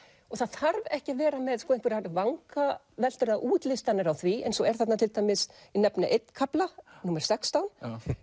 og það þarf ekki að vera með einhverjar vangaveltur eða útlistanir á því eins og er þarna til dæmis ég nefni einn kafla númer sextán